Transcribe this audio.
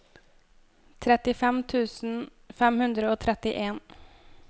trettifem tusen fem hundre og trettien